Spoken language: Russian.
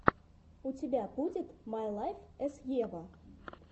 у тебя будет май лайф эс ева